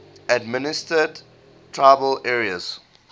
administered tribal areas